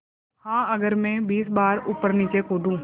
हाँ अगर मैं बीस बार ऊपरनीचे कूदूँ